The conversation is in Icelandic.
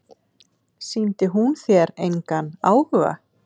Sýndi hún þér engan áhuga?